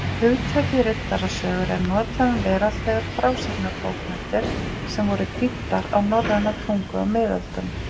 Hugtakið riddarasögur er notað um veraldlegar frásagnarbókmenntir sem voru þýddar á norræna tungu á miðöldum.